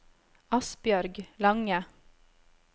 Asbjørg Lange